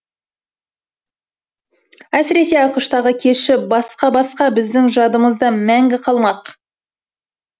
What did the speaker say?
әсіресе ақш тағы кеші басқа басқа біздің жадымызда мәңгі қалмақ